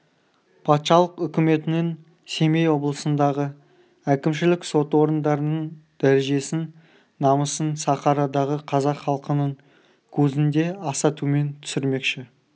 патшалық үкіметінің семей облысындағы әкімшілік сот орындарының дәрежесін намысын сахарадағы қазақ халқының көзінде аса төмен түсірмекші